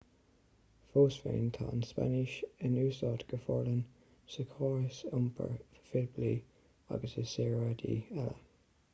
fós féin tá an spáinnis in úsáid go forleathan sa chóras iompair phoiblí agus i saoráidí eile